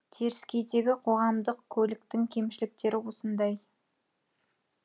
теріскейдегі қоғамдық көліктің кемшіліктері осындай